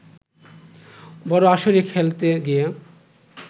বড় আসরে খেলতে গিয়ে